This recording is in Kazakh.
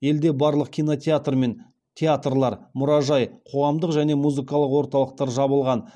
елде барлық кинотеатр мен театрлар мұражай қоғамдық және музыкалық орталықтар жабылған